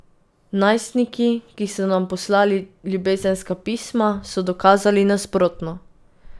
Najstniki, ki so nam poslali ljubezenska pisma, so dokazali nasprotno.